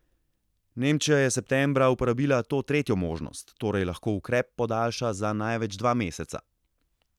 Nemčija je septembra uporabila to tretjo možnost, torej lahko ukrep podaljša za največ dva meseca.